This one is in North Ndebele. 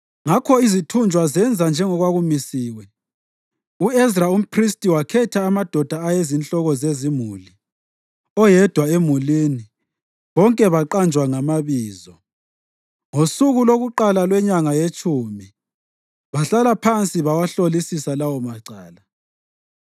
Ngakho izithunjwa zenza njengokwakumisiwe. U-Ezra umphristi wakhetha amadoda ayeyizinhloko zezimuli, oyedwa emulini, bonke baqanjwa ngamabizo. Ngosuku lokuqala lwenyanga yetshumi bahlala phansi bawahlolisisa lawomacala,